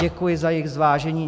Děkuji za jejich zvážení.